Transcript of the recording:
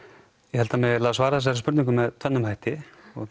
ég held það megi svara þessari spurningu með tvennum hætti